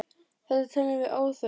Þetta teljum við óþarft.